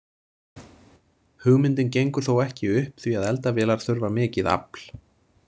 Hugmyndin gengur þó ekki upp því að eldavélar þurfa mikið afl.